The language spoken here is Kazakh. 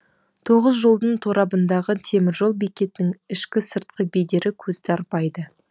тоғыз жолдың торабындағы темір жол бекетінің ішкі сыртқы бедері көзді арбайды